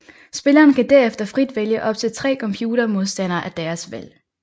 Spilleren kan derefter frit vælge op til tre computer modstandere af deres valg